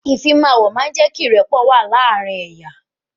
Ìfimawo máa ń jé kí ìrẹ́pọ̀ wà láàárín ẹ̀yà